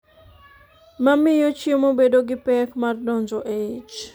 ma miyo chiemo bedo gi pek mar donjo e ich